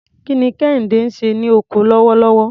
Kí ni Kehinde ń ṣe ní oko lọ́wọ́lọ́wọ́?